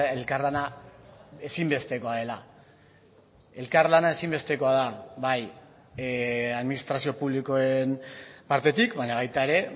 elkarlana ezinbestekoa dela elkarlana ezinbestekoa da bai administrazio publikoen partetik baina baita ere